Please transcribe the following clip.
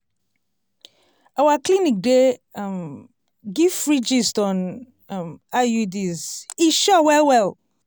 our clinic dey um give free gist on um iuds e sure well well!